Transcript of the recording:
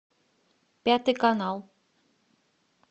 пятый канал